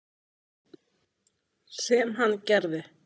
Sem hann gerði.